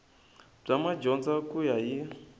bya madyondza ku ya hi